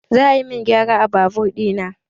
Za a min gyara a babur ɗina